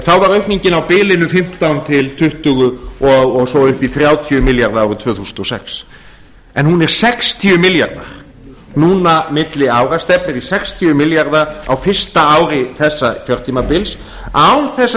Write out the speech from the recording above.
þá var aukningin á bilinu fimmtán til tuttugu og svo upp í þrjátíu milljarðar árið tvö þúsund og sex hún er sextíu milljarðar núna milli ára stefnir í sextíu milljarða á fyrsta ári þessa kjörtímabils án þess að það